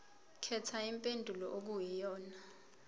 khetha impendulo okuyiyona